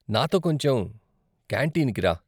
నాతో కొంచెం కాంటీన్కి రా.